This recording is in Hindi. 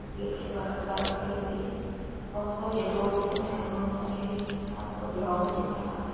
गेट के बाहर बाइक खड़ी हुई है। बोहत सारे डोर दिख रहे हैं। बोहत सारी हरी भरी घास और ग्राउंड दिख रहा है।